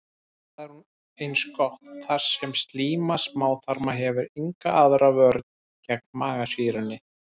Það er eins gott, þar sem slíma smáþarma hefur enga aðra vörn gegn magasýrunni.